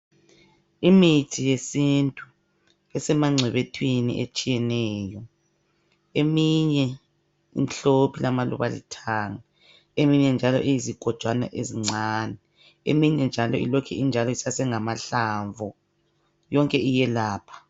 Imithi yesintu esemangcebethwini etshiyeneyo eminye imhlophe ilamaluba alithanga eminye njalo iyizigojwana ezincane eminye njalo ilokhe injalo isase ngamahlamvu yonke iyelapha.